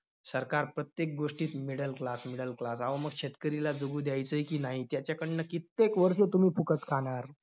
सरकार प्रत्येक गोष्टीत middle class middle class अहो, मग शेतकरीला जगू द्यायचंय की नाही? त्याच्याकडनं कित्येक वर्ष तुम्ही फुकट खाणार?